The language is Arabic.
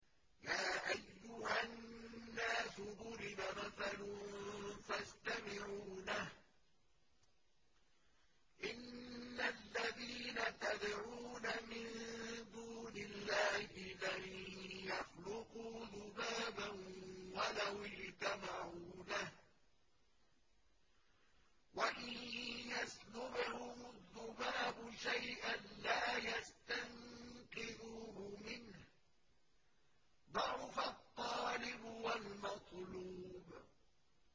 يَا أَيُّهَا النَّاسُ ضُرِبَ مَثَلٌ فَاسْتَمِعُوا لَهُ ۚ إِنَّ الَّذِينَ تَدْعُونَ مِن دُونِ اللَّهِ لَن يَخْلُقُوا ذُبَابًا وَلَوِ اجْتَمَعُوا لَهُ ۖ وَإِن يَسْلُبْهُمُ الذُّبَابُ شَيْئًا لَّا يَسْتَنقِذُوهُ مِنْهُ ۚ ضَعُفَ الطَّالِبُ وَالْمَطْلُوبُ